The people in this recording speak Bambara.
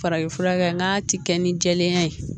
Farafinfurakɛ n'a ti kɛ ni jɛlenya ye